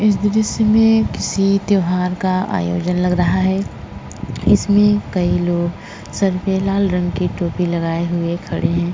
इस दृश्य मे किसी त्यौहार का आयोजन लग रहा है। इसमे कई लोग सर पे लाल रंग की टोपी लगाये हुए खड़े हैं।